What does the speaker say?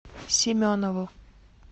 семенову